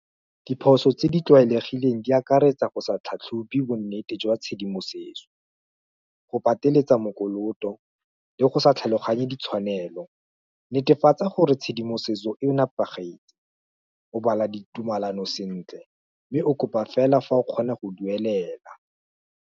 Diphoso tse di tlwaelegileng, di akaretsa go sa tlhatlhobo nnete jwa tshedimosetso, go pateletsa mokoloto, le go sa tlhaloganye ditshwanelo, netefatsa gore tshedimosetso e nepagetse, o bala ditumalano sentle, mme o kopa fela fa o kgona go duelela.